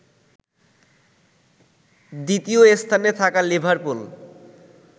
দ্বিতীয় স্থানে থাকা লিভারপুল